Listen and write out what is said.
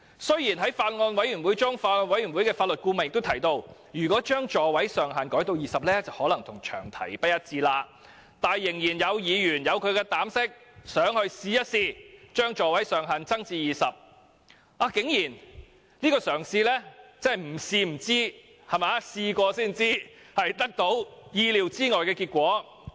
雖然在法案委員會的會議上，法案委員會的法律顧問也提到，將座位上限改為20個可能與詳題不一致，但依然有議員膽敢提出修正案，把座位上限提高至20個，而這嘗試亦竟然得到意料之外的結果。